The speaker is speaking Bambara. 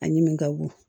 A ɲimi ka bon